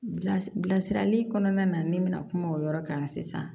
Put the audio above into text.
Bilasira bilasirali kɔnɔna na ne bɛna kuma o yɔrɔ kan sisan